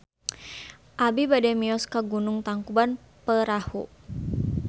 Abi bade mios ka Gunung Tangkuban Perahu